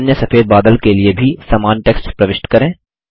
अन्य सफेद बादल के लिए भी समान टेक्स्ट प्रविष्ट करें